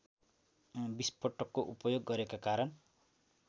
विस्फोटको उपयोग गरेका कारण